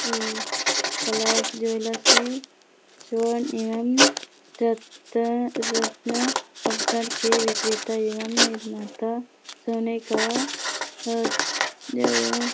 ए colours jewellers है सोन एवं रत रत्न आभूषण के विक्रेता एवं निर्माता सोने का अ जगह ए --